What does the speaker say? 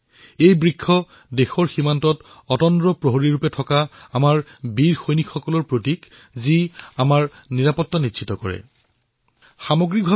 এই খোজ সৈনিকৰ প্ৰতীক আৰু দেশৰ নাগৰিকক এই বাৰ্তা প্ৰদান কৰা হৈছে যে সৈনিকসকলে দেশৰ সীমাত অহৰহে পহৰা দি দেশবাসীক সুৰক্ষা প্ৰদান কৰিছে